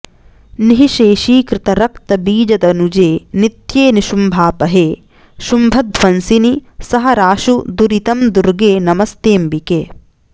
निःशेषीकृतरक्तबीजदनुजे नित्ये निशुम्भापहे शुम्भध्वंसिनि सहराशु दुरितं दुर्गे नमस्तेऽम्बिके